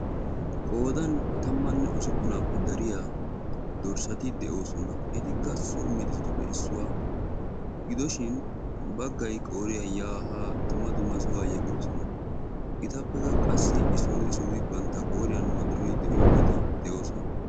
Qoodan tammanne ussupunappe dariya dorssati de'oosona etikka so medoosatuppe issuwaa gidoshin baggay qooriya ya ha dumma dumma sohuwaa yeggidoosona. Etappe qassi issoti issoti bantta qoriyan wodoroy de'iyoogeeti de'oosona.